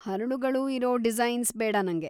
ಹರಳುಗಳು ಇರೋ ಡಿಸೈನ್ಸ್‌ ಬೇಡ ನಂಗೆ.